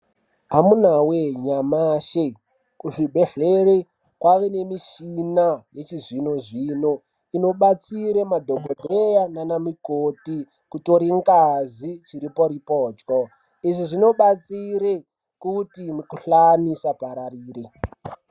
Amunawee nyamashi kuzvibhedhlera kwava nemushina yechizvinozvino inobatsira madhokodheya nanamukoti kutora ngazi chiriporipotyo izvi zvinobatsira kuti mukuhlani usapararire.